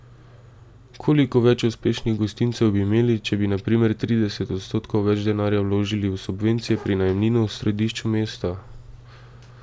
Koliko več uspešnih gostincev bi imeli, če bi na primer trideset odstotkov več denarja vložili v subvencije pri najemninah v središču mesta?